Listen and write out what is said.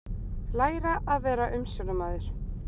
Læra að vera umsjónarmaður